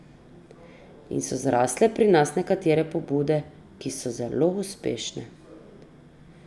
In so zrasle pri nas nekatere pobude, ki so zelo uspešne.